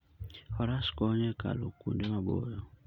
Faras konyo e kalo kuonde maboyo.